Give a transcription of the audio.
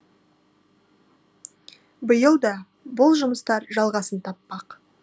биыл да бұл жұмыстар жалғасын таппақ